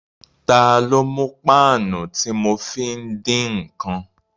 Ta ló mú páànù tí mo fi ń dín ǹkan?